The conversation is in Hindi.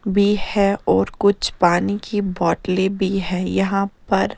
बी है और कुछ पानी की बॉटले भी है यहाँ पर ।